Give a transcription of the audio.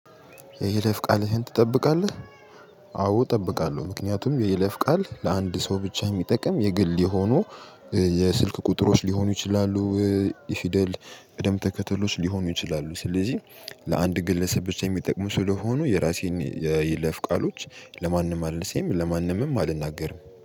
የይለፍ ቃልህን ትጠብቃለህ? አዎ እጠብቃለሁ ምክንያቱም የይለፍ ቃል ለአንድ ሰው ብቻ ሚጠቅም የግል የሆኑ የስልክ ቁጥሮች ሊሆኑ ይችላሉ። የፊደል ቀደም ተከተሎች ሊሆኑ ይችላሉ። ስለዚህ ለአንድ ግለሰብ ብቻ የሚጠቅሙ ስለሆኑ የራሴን የይለፍ ቃሎች ለማንም አልልሴም ለማንምም አልናገርም